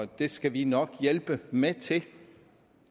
det skal vi nok hjælpe med til